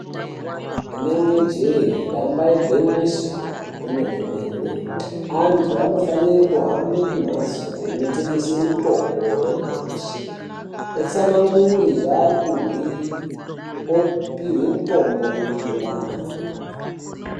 Rinenge jee damba igwinyiso remene-mene antu anofanire kuhambe kumhatso inotengeswe mitombo yenyamashi vatsanangure zvavari kuhwe opihwe mitombo inoenderana